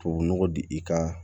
Tubabu nɔgɔ di i ka